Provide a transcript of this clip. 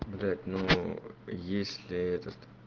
блять ну если этот